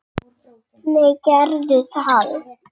Nei, gerðum við það?